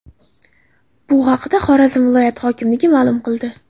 Bu haqda Xorazm viloyati hokimligi ma’lum qildi .